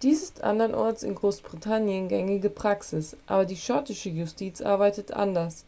dies ist anderenorts in großbritannien gängige praxis aber die schottische justiz arbeitet anders